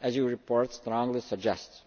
as your report strongly suggests.